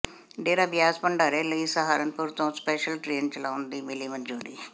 ਡੇਰਾ ਬਿਆਸ ਭੰਡਾਰੇ ਲਈ ਸਹਾਰਨਪੁਰ ਤੋਂ ਸਪੈਸ਼ਲ ਟਰੇਨ ਚਲਾਉਣ ਦੀ ਮਿਲੀ ਮਨਜ਼ੂਰੀ